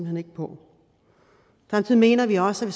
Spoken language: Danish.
hen ikke på samtidig mener vi også at